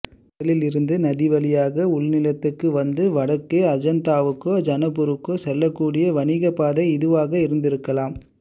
கடலில் இருந்து நதிவழியாக உள்நிலத்துக்கு வந்து வடக்கே அஜந்தாவுக்கோ ஜனக்பூருக்கோ செல்லக்கூடிய வணிகப்பாதை இதுவாக இருந்திருக்கலாம்